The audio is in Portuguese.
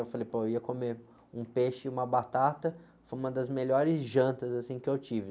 Eu falei, pô, eu ia comer um peixe e uma batata, foi uma das melhores jantas, assim, que eu tive.